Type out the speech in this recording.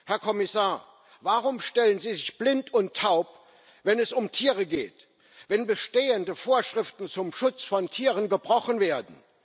Herr Kommissar, warum stellen Sie sich blind und taub, wenn es um Tiere geht, wenn bestehende Vorschriften zum Schutz von Tieren gebrochen werden?